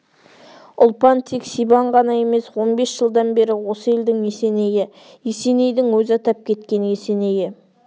ұлпан тек сибан ғана емес он бес жылдан бері осы елдің есенейі есенейдің өзі атап кеткен есенейі